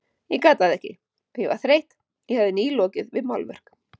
Ég gat það ekki, ég var þreytt, ég hafði nýlokið við málverk.